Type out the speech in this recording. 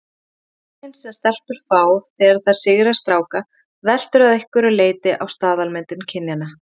Athyglin sem stelpur fá þegar þær sigra stráka veltur að einhverju leyti á staðalmyndum kynjanna.